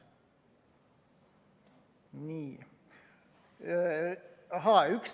Nii.